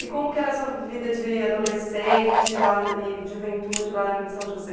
E como que era a sua vida de adolescente lá n e juventude lá em São José?